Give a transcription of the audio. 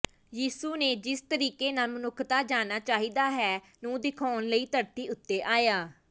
ਯਿਸੂ ਨੇ ਜਿਸ ਤਰੀਕੇ ਨਾਲ ਮਨੁੱਖਤਾ ਜਾਣਾ ਚਾਹੀਦਾ ਹੈ ਨੂੰ ਦਿਖਾਉਣ ਲਈ ਧਰਤੀ ਉੱਤੇ ਆਇਆ